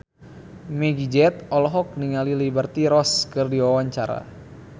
Meggie Z olohok ningali Liberty Ross keur diwawancara